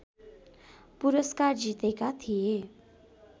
पुरस्कार जितेका थिए